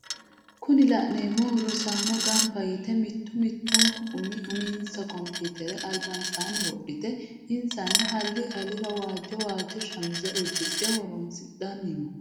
Kunni la'neemohu rosaano gamba yite mittu mittunku umi uminsa komputere albansaanni wodhite insano halli alira waajjo wajjo shamise udidhe horonsidhanni no